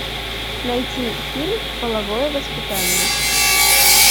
найти фильм половое воспитание